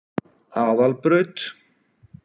Aðalbraut